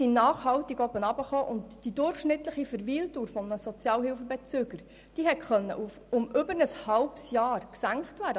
Die Senkung war nachhaltig und die durchschnittliche Verweildauer eines Sozialhilfebezügers konnte um mehr als ein halbes Jahr gesenkt werden.